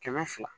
Kɛmɛ fila